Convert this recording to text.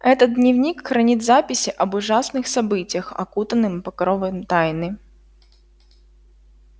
этот дневник хранит записи об ужасных событиях окутанным покровом тайны